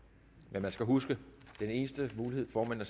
men man skal huske at den eneste mulighed for at